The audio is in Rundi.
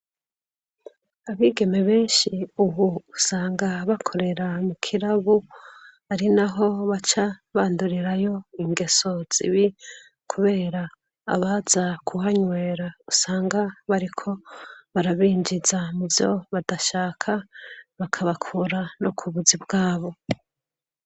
Abigeme benshi ubu usanga bakorera mukirabo ari naho baca bandurira ingeso zibi, kubera abaza kuhanywera usanga bariko barabinjiza muvyo badashaka bakura no kubuzi bwabo.